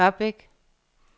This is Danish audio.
Ørbæk